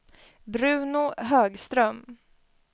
Bruno Högström